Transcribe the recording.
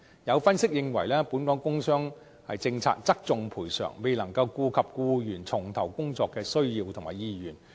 有分析認為，本港工傷政策側重賠償，未能顧及僱員重投工作的需要和意願。